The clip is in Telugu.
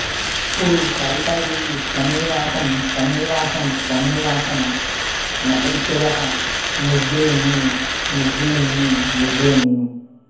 అప్పుడు కాళికాదేవి త్వమేవాహం త్వమేవాహం త్వమేవాహం నసంశయః నువ్వే నేను నువ్వే నేను నువ్వేనేను